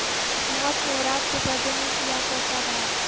موت نے رات کے پردے میں کیا کیسا وار